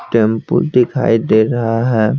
Temple दिखाई दे रहा है।